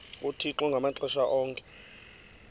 uthixo ngamaxesha onke